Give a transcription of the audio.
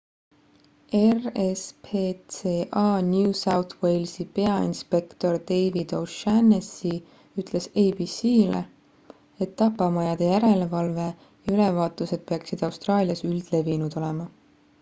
rspca new south walesi peainspektor david o'shannessy ütles abc-le et tapamajade järelevalve ja ülevaatused peaksid austraalias üldlevinud olema